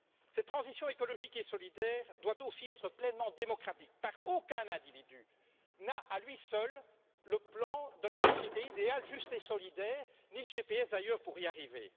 Cette transition écologique et solidaire doit aussi être pleinement démocratique, car aucun individu n'a, à lui seul, le plan de la société idéale, juste et solidaire, ni le GPS d'ailleurs pour y arriver.